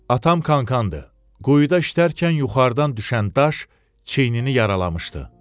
Atam kankanıdır, quyuda işlərkən yuxarıdan düşən daş çiyinini yaralamışdı.